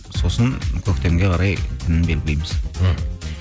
сосын көктемге қарай күнін белгілейміз мхм